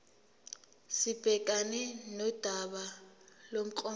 sibhekane nodaba lomklomelo